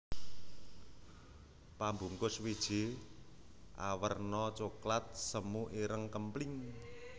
Pambungkus wiji awerna coklat semu ireng kempling